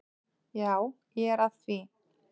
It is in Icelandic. Já, ég er að því.